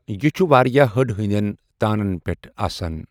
یہِ چھُ واریاہ ہٕڈ ہٕندؠن تانَن پؠٹھ آسَن۔